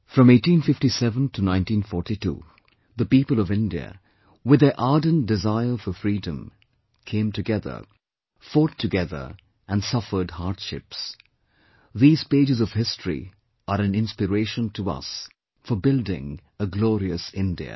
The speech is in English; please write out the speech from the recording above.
From 1857 to 1942, the people of India, with their ardent desire for freedom, came together, fought together, and suffered hardships; these pages of history are an inspiration to us for building a glorious India